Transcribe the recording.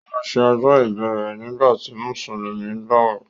O ma ṣe ọjọ́ ìbí rẹ̀ nígbàtí Mùsùlùmí ń gbàwẹ̀